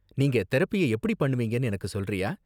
நீங்க தெரபிய எப்படி பண்ணுவீங்கன்னு எனக்கு சொல்றியா?